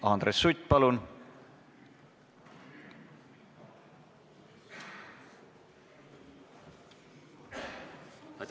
Andres Sutt, palun!